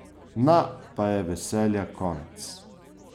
Na, pa je veselja konec!